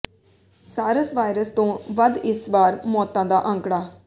ਸਾਰਸ virus ਤੋਂ ਵੱਧ ਇਸ ਵਾਰ ਮੌਤਾਂ ਦਾ ਅੰਕੜਾ